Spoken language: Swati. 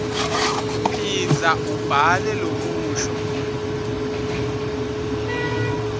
phindza uwubhale lomusho